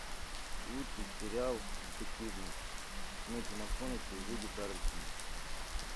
лучший сериал детективный с метью макконахи и вуди харрельсоном